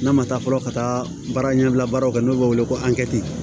N'a ma taa fɔlɔ ka taa baara ɲɛbila baaraw kɛ n'o bɛ wele ko angɛrɛti